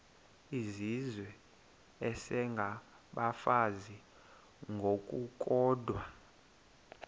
izizwe isengabafazi ngokukodwa